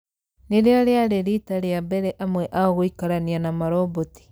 Nĩrĩo rĩarĩ riita rĩa mbere amwe ao gũikarania na maroboti